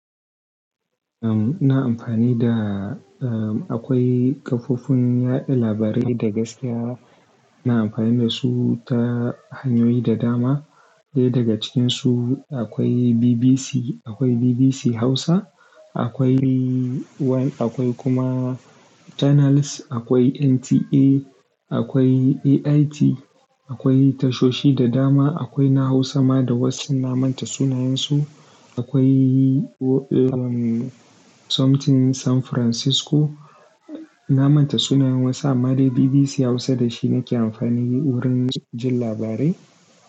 Ina amfani da, akwai kafofin yaɗa labarai da gaskiya ina amfani da su ta hanyoyi da dama. Ɗaya daga cikinsu akwai BBC, akwai BBC Hausa, akwai one akwai kuma channels, akwai NTA, akwai AIT, akwai tashoshi da dama, akwai na Hausa ma da wasu na manta sunayensu. Akwai wani something San Francisco. Na manta sunayen wasu amma dai BBC Hausa da shi nake amfani wurin jin labarai.